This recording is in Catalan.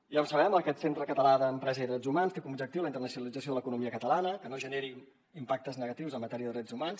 ja ho sabem aquest centre català d’empresa i drets humans té com a objectiu la internacionalització de l’economia catalana que no generi impactes negatius en matèria de drets humans